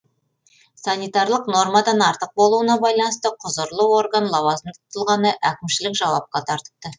санитарлық нормадан артық болуына байланысты құзырлы орган лауазымды тұлғаны әкімшілік жауапқа тартыпты